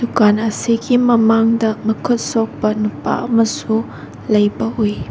ꯗꯨꯀꯥꯟ ꯑꯁꯤꯒꯤ ꯃꯃꯥꯡꯗ ꯃꯈꯨꯠ ꯁꯣꯛꯄ ꯅꯨꯄꯥ ꯑꯃꯁꯨ ꯂꯩꯕ ꯎꯏ꯫